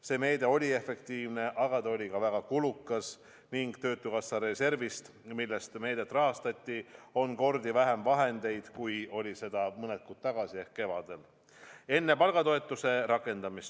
See meede oli efektiivne, aga ta oli ka väga kulukas, ning töötukassa reservis, millest meedet rahastati, on kordi vähem vahendeid kui mõned kuud tagasi ehk kevadel enne palgatoetuse rakendamist.